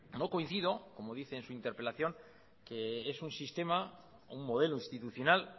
no coincido como dice en su interpelación que es un modelo institucional